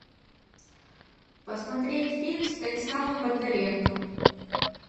посмотреть фильм с станиславом бондаренко